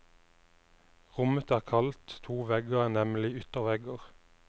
Rommet er kaldt, to vegger er nemlig yttervegger.